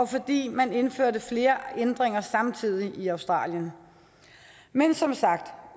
fordi man indførte flere ændringer samtidig i australien men som sagt